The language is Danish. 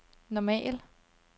normal